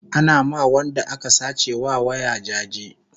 Ana ma Wanda aka sace wa waya jaje